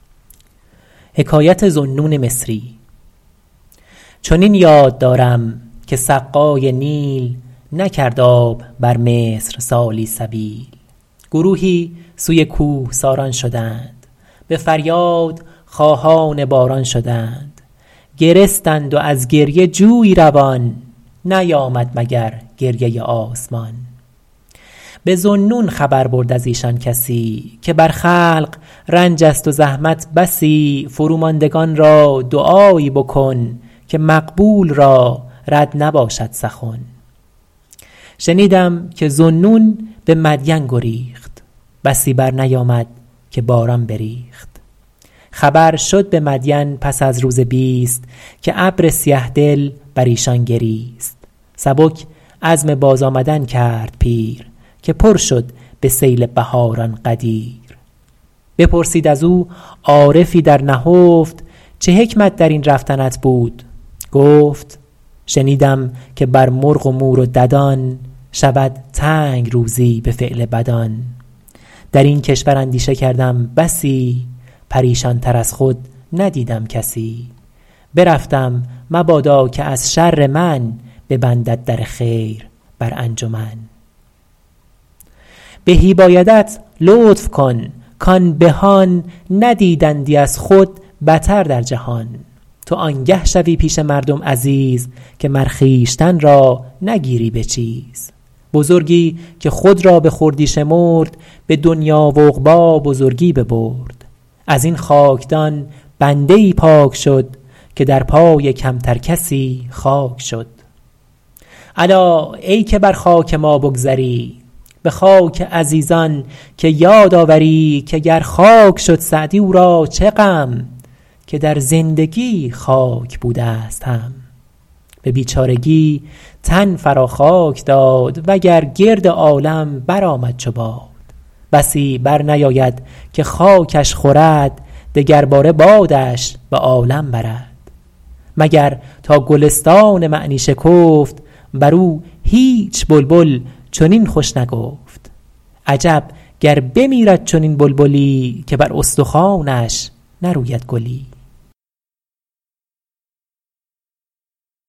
چنین یاد دارم که سقای نیل نکرد آب بر مصر سالی سبیل گروهی سوی کوهساران شدند به فریاد خواهان باران شدند گرستند و از گریه جویی روان نیامد مگر گریه آسمان به ذوالنون خبر برد از ایشان کسی که بر خلق رنج است و زحمت بسی فرو ماندگان را دعایی بکن که مقبول را رد نباشد سخن شنیدم که ذوالنون به مدین گریخت بسی بر نیامد که باران بریخت خبر شد به مدین پس از روز بیست که ابر سیه دل بر ایشان گریست سبک عزم باز آمدن کرد پیر که پر شد به سیل بهاران غدیر بپرسید از او عارفی در نهفت چه حکمت در این رفتنت بود گفت شنیدم که بر مرغ و مور و ددان شود تنگ روزی به فعل بدان در این کشور اندیشه کردم بسی پریشان تر از خود ندیدم کسی برفتم مبادا که از شر من ببندد در خیر بر انجمن بهی بایدت لطف کن کان بهان ندیدندی از خود بتر در جهان تو آنگه شوی پیش مردم عزیز که مر خویشتن را نگیری به چیز بزرگی که خود را به خردی شمرد به دنیا و عقبی بزرگی ببرد از این خاکدان بنده ای پاک شد که در پای کمتر کسی خاک شد الا ای که بر خاک ما بگذری به خاک عزیزان که یاد آوری که گر خاک شد سعدی او را چه غم که در زندگی خاک بوده ست هم به بیچارگی تن فرا خاک داد وگر گرد عالم برآمد چو باد بسی برنیاید که خاکش خورد دگر باره بادش به عالم برد مگر تا گلستان معنی شکفت بر او هیچ بلبل چنین خوش نگفت عجب گر بمیرد چنین بلبلی که بر استخوانش نروید گلی